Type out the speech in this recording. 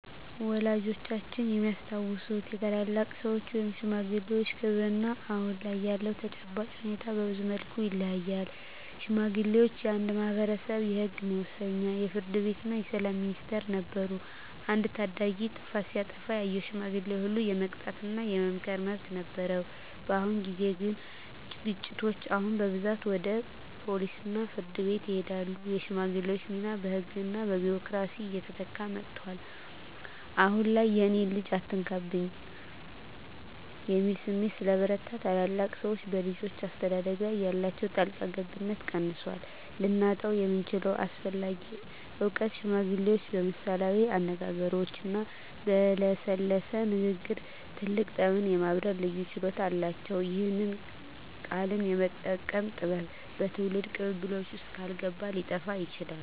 ወላጆቻችን የሚያስታውሱት የታላላቅ ሰዎች (ሽማግሌዎች) ክብርና አሁን ላይ ያለው ተጨባጭ ሁኔታ በብዙ መልኩ ይለያያል። ሽማግሌዎች የአንድ ማኅበረሰብ የሕግ መወሰኛ፣ የፍርድ ቤትና የሰላም ሚኒስቴር ነበሩ። አንድ ታዳጊ ጥፋት ሲያጠፋ ያየው ሽማግሌ ሁሉ የመቅጣትና የመምከር መብት ነበረው። በአሁን ጊዜ ግን ግጭቶች አሁን በብዛት ወደ ፖሊስና ፍርድ ቤት ይሄዳሉ። የሽማግሌዎች ሚና በሕግና በቢሮክራሲ እየተተካ መጥቷል። አሁን ላይ "የእኔን ልጅ አትነካብኝ" የሚል ስሜት ስለበረታ፣ ታላላቅ ሰዎች በልጆች አስተዳደግ ላይ ያላቸው ጣልቃ ገብነት ቀንሷል። ልናጣው የምንችለው አስፈላጊ እውቀት ሽማግሌዎች በምሳሌያዊ አነጋገሮችና በለሰለሰ ንግግር ትልቅ ጠብን የማብረድ ልዩ ችሎታ አላቸው። ይህ "ቃልን የመጠቀም ጥበብ" በትውልድ ቅብብሎሽ ውስጥ ካልገባ ሊጠፋ ይችላል።